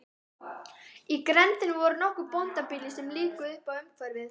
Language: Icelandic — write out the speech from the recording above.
Í grenndinni voru nokkur bóndabýli sem lífguðu uppá umhverfið.